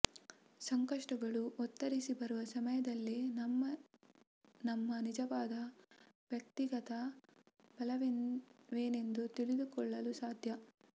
ಸಂಕಷ್ಟಗಳು ಒತ್ತರಿಸಿ ಬರುವ ಸಮಯದಲ್ಲೇ ನಮ್ಮ ನಮ್ಮ ನಿಜವಾದ ವ್ಯಕ್ತಿಗತ ಬಲವೇನೆಂದು ತಿಳಿದುಕೊಳ್ಳಲು ಸಾಧ್ಯ